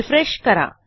refresh करा